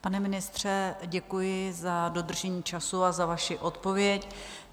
Pane ministře, děkuji za dodržení času a za vaši odpověď.